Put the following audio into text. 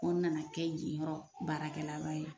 F'ɔ n nana kɛ yen yɔrɔ baarakɛlaba ye.